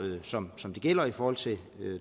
som gælder i forhold til